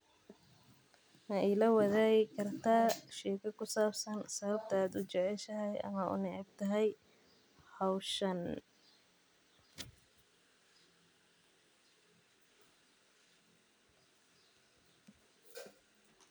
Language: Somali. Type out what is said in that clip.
Mailawadhagi karta sawabta aa u jeceshahay hoshan ama aa u necebtahay.